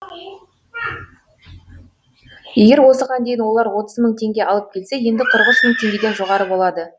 егер осыған дейін олар отыз мың теңге алып келсе енді қырық үш мың теңгеден жоғары болады